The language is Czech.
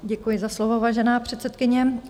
Děkuji za slovo, vážená předsedkyně.